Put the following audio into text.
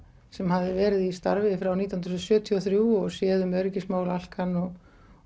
sem hafði verið í starfi frá nítján hundruð sjötíu og þrjú og séð um öryggismál Alcan og